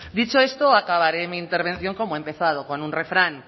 dicha esto acabaré mi intervención como he empezado con un refrán